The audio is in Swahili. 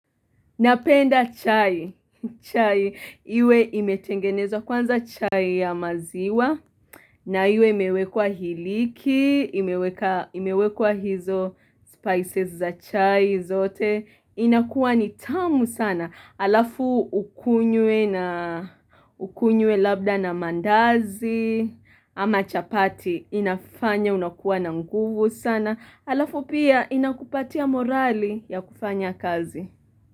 Napenda chai, chai, iwe imetengenezwa kwanza chai ya maziwa, na iwe imewekwa hiliki, imewekwa hizo spices za chai zote, inakuwa ni tamu sana, alafu ukunywe labda na maandazi, ama chapati inafanya unakuwa na nguvu sana, alafu pia inakupatia morali ya kufanya kazi.